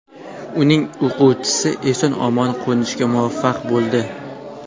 Uning o‘quvchisi eson-omon qo‘nishga muvaffaq bo‘ldi.